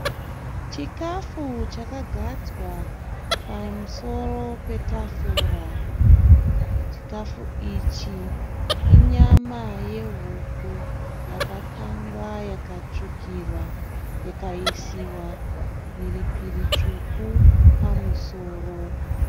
Chikafu chakagadzwa pamusoro petafura. Chikafu ichi inyama yehuku yakakangwa yakatsvukira ikaisiwa mhiripiri tsvuku pamusoro.